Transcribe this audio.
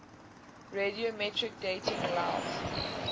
radiometric dating allows